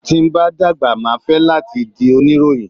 Tí n bá dàgbà máa fẹ́ láti di oníròyìn.